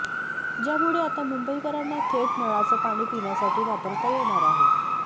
ज्यामुळे आता मुंबईकरांना थेट नळाचं पाणी पिण्यासाठी वापरता येणार आहे